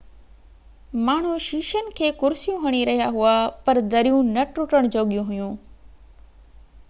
ماڻهو شيشن کي ڪرسيون هڻي رهيا هئا پر دريون نہ ٽٽڻ جوڳيون هئيون